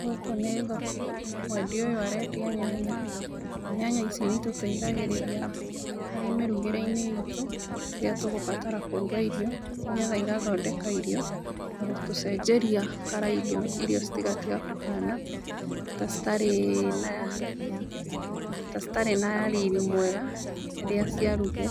Gũkũ nĩ thoko, mwendia ũyũ arendia nyanya, na nyanya ici nĩ itũteithagĩrĩria harĩ mĩrugĩre-inĩ iitũ rĩrĩa tũgũbatara kũruga irio nĩ getha igathondeka irio, na gũtũcenjeria colour irio, irio citigatige kũhana ta citarĩ na ta citarĩ na riri mwega rĩrĩa ciarugwo.